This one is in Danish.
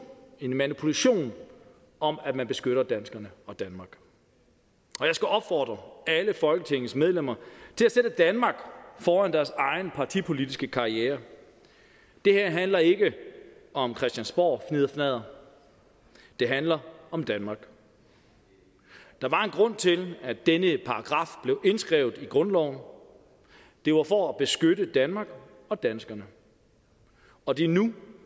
en manipulation om at man beskytter danskerne og danmark og jeg skal opfordre alle folketingets medlemmer til at sætte danmark foran deres egen partipolitiske karriere det her handler ikke om christiansborgfnidderfnadder det handler om danmark der var en grund til at denne paragraf blev indskrevet i grundloven det var for at beskytte danmark og danskerne og det er nu